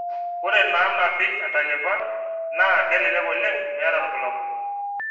ore naanapi entalipa naa kelelek oleng meeta irbulabul